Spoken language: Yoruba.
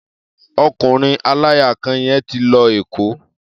Ọkùnrin aláya kan yẹn ti lọ Èkó.